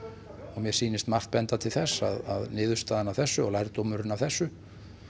og mér sýnist margt benda til þess að niðurstaðan af þessu og lærdómurinn af þessu